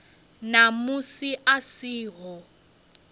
na musi a si ho